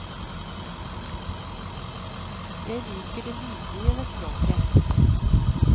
Jeg liker det lydlige ved språket.